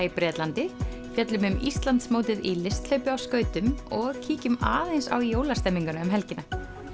í Bretlandi fjöllum um Íslandsmótið í listhlaupi á skautum og kíkjum aðeins á jólastemninguna um helgina